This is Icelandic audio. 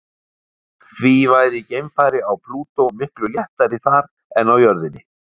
Því væri geimfari á Plútó miklu léttari þar en á jörðinni.